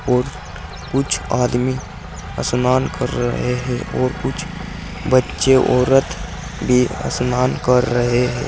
और कुछ आदमी स्नान कर रहे हैं और कुछ बच्चे औरत भी स्नान कर रहे हैं।